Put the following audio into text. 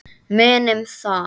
Munum það.